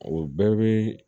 O bɛɛ bɛ